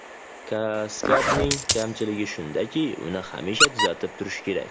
Kaskadning kamchiligi shundaki, uni hamisha tuzatib turish kerak.